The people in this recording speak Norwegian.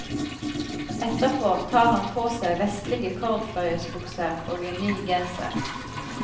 Etterpå tar han på seg vestlige cordfløyelsbukser og en ny genser.